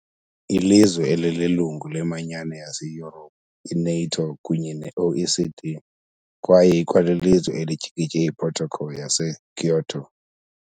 ilizwe elililungu leManyano yaseYurophu, i-NATO kunye ne- OECD kwaye ikwalilizwe elityikitye iProtocol yaseKyoto .